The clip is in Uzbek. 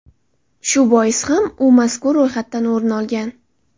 Shu bois ham u mazkur ro‘yxatdan o‘rin olgan.